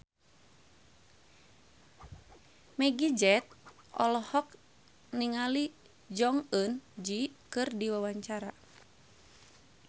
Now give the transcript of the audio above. Meggie Z olohok ningali Jong Eun Ji keur diwawancara